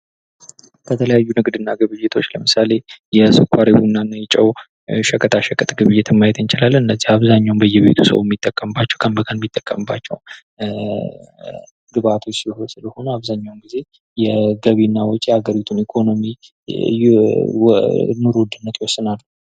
ከተለያዩ ንግድ እና ግብይቶች ለምሳሌ የስኳር፣ የቡና እና የጨዉ ሸቀጣ ሸቀጥ ግብይትን ማየት እንችላለን። እነዚህ አብዛኛዉ በየቤቱ ሰዉ የሚጠቀምባቸዉ ቀን በቀን የሚጠቀምባቸዉ ግብዓቶች ስለሆኑ አብዛኛዉን ጊዜ ገቢ እና ወጭ የሀገሪቱን ኢኮኖሚ ኑሮ ዉድነትን ይወስናል።